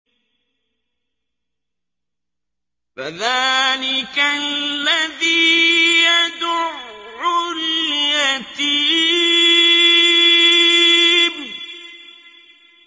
فَذَٰلِكَ الَّذِي يَدُعُّ الْيَتِيمَ